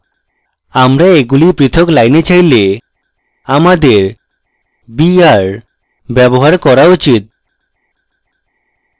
আমরা এগুলি পৃথক lines চাইলে আমাদের br ব্যবহার করা উচিত